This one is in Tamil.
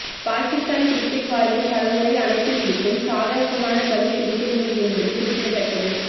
பாகிஸ்தான் கிரிக்கெட் வாரியம் பலமுறை அழைப்பு விடுத்தும் சாதமான பதில் கிடைக்கவில்லை என்பது குறிப்பிடத்தக்கது